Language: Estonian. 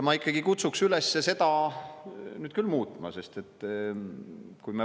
Ma ikkagi kutsuks üles seda nüüd küll muutma.